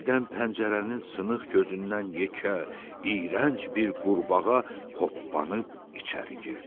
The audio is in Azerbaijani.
Birdən pəncərənin sınıq gözündən yekə, iyrənc bir qurbağa hoppanıb içəri girdi.